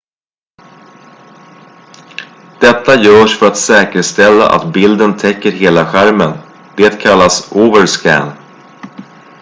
detta görs för att säkerställa att bilden täcker hela skärmen det kallas overscan